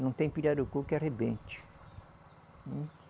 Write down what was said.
Não tem pirarucu que arrebente. Hum